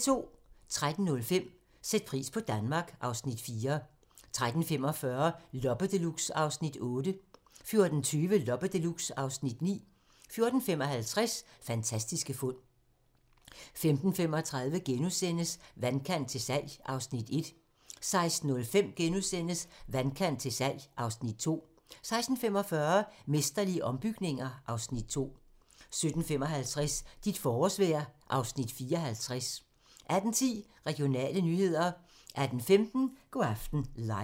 13:05: Sæt pris på Danmark (Afs. 4) 13:45: Loppe Deluxe (Afs. 8) 14:20: Loppe Deluxe (Afs. 9) 14:55: Fantastiske fund 15:35: Vandkant til salg (Afs. 1)* 16:05: Vandkant til salg (Afs. 2)* 16:45: Mesterlige ombygninger (Afs. 2) 17:55: Dit forårsvejr (Afs. 54) 18:10: Regionale nyheder 18:15: Go' aften live